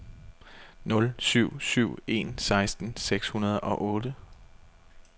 nul syv syv en seksten seks hundrede og otte